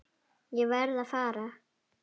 Ég verð að fara.